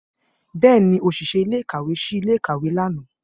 Bẹẹni, oṣiṣẹ ile-ikawe ṣii ile-ikawe lana.